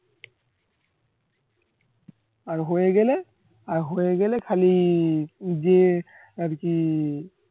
আর হয়ে গেলে আর হয়ে গেলে খালি যে আর কি